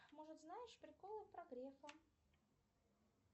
может знаешь приколы про грефа